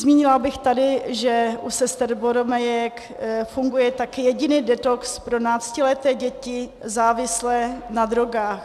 Zmínila bych tady, že u sester boromejek funguje také jediný detox pro náctileté děti závislé na drogách.